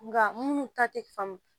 Nka minnu ta tɛ faamu